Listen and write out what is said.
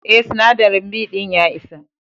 Eh, sinadari B din ya isa.